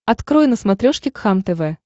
открой на смотрешке кхлм тв